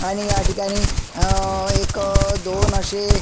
आणि ह्या ठिकाणी एक दोन असे--